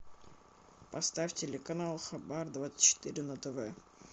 поставь телеканал хабар двадцать четыре на тв